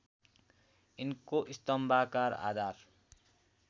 यिनको स्तम्भाकार आधार